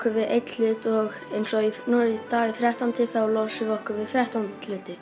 við einn hlut og í dag er þrettánda og þá losum við okkur við þrettán hluti